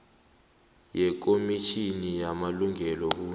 yekomitjhini yamalungelo wobuntu